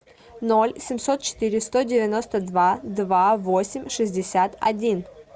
ноль семьсот четыре сто девяносто два два восемь шестьдесят один